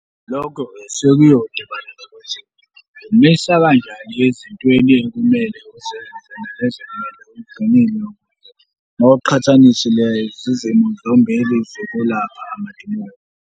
Lokho-ke sekuyodibana nokuthi umisa kanjani ezintweni ekumele uzenze nalezo ekumele uzigwemile mawuqhathanisa lezi zimo zombili zokulapha amadimoni.